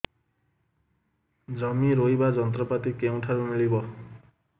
ଜମି ରୋଇବା ଯନ୍ତ୍ରପାତି କେଉଁଠାରୁ ମିଳିବ